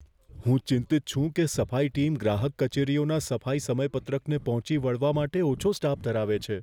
હું ચિંતિત છું કે સફાઈ ટીમ ગ્રાહક કચેરીઓના સફાઈ સમયપત્રકને પહોંચી વળવા માટે ઓછો સ્ટાફ ધરાવે છે.